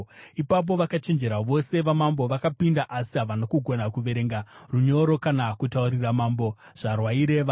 Ipapo vakachenjera vose vamambo vakapinda, asi havana kugona kuverenga runyoro kana kutaurira mambo zvarwaireva.